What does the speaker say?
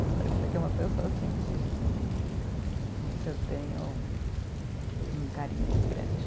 Isso para dizer que é uma pessoa, assim, de né que eu tenho um carinho muito grande.